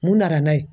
Mun nana n'a ye